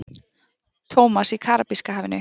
Thomas í Karabíska hafinu.